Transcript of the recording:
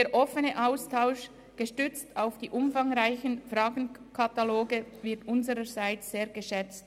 Der offene Austausch, der auch auf die umfangreichen Fragekataloge zurückzuführen ist, wird unsererseits sehr geschätzt.